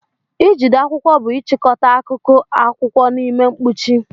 Ijide akwụkwọ bụ ịchịkọta akụkụ akwụkwọ n'ime mkpuchi.